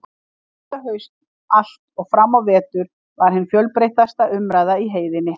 Og þetta haust allt og fram á vetur var hin fjölbreytilegasta umræða í heiðinni.